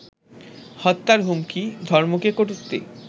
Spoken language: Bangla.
হত্যার হুমকি, ধর্মকে কটুক্তি